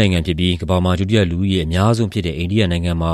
နိုင်ငံဖြစ်ပြီး ကမ္ဘာမှာ ဒုတိယ လူဦးရေအများဆုံးဖြစ်တဲ့ အိန္ဒိယနိုင်ငံမှာ